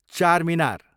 Charminar